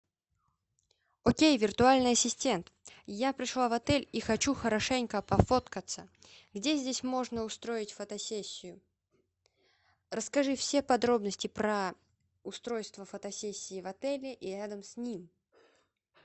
окей виртуальный ассистент я пришла в отель и хочу хорошенько пофоткаться где здесь можно устроить фотосессию расскажи все подробности про устройство фотосессии в отеле и рядом с ним